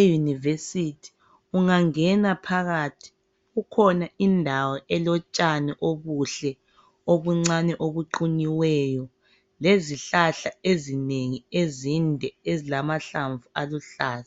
eUniversity ungangena phakathi kukhona indawo elotshani obuhle obuncane obuqunyiweyo lezihlahla ezinengi ezinde ezilamahlamvu aluhlaza.